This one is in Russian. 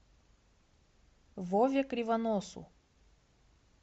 вове кривоносу